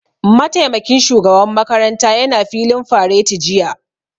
Mataimakin shugaban makaranta ya na filin fareti jiya